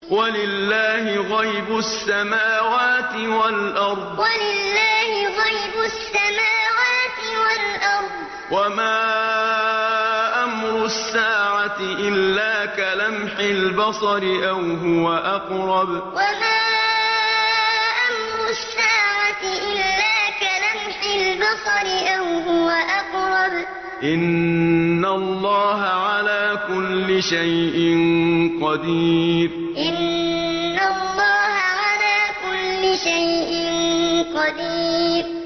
وَلِلَّهِ غَيْبُ السَّمَاوَاتِ وَالْأَرْضِ ۚ وَمَا أَمْرُ السَّاعَةِ إِلَّا كَلَمْحِ الْبَصَرِ أَوْ هُوَ أَقْرَبُ ۚ إِنَّ اللَّهَ عَلَىٰ كُلِّ شَيْءٍ قَدِيرٌ وَلِلَّهِ غَيْبُ السَّمَاوَاتِ وَالْأَرْضِ ۚ وَمَا أَمْرُ السَّاعَةِ إِلَّا كَلَمْحِ الْبَصَرِ أَوْ هُوَ أَقْرَبُ ۚ إِنَّ اللَّهَ عَلَىٰ كُلِّ شَيْءٍ قَدِيرٌ